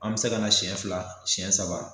An be se ka na sɛn fila sɛn saba